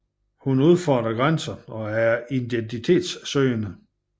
Hun udfordrer grænser og er identitetssøgende